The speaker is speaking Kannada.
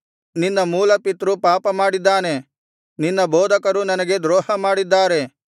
ನಿನ್ನ ಮೂಲಪಿತೃ ಪಾಪಮಾಡಿದ್ದಾನೆ ನಿನ್ನ ಬೋಧಕರು ನನಗೆ ದ್ರೋಹಮಾಡಿದ್ದಾರೆ